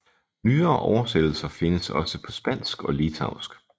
Nyere oversættelser findes også på spansk og litauisk